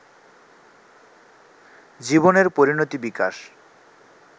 জীবনের পরিণতি-বিকাশ